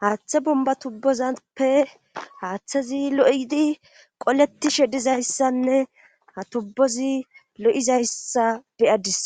haaththe bomba tubbozappe haaththezi lo'idi qoleti shedizayssanne ha tubbozi lo'izayssa beyadis